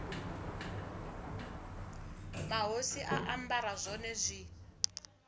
mahosi a ambara zwone zwi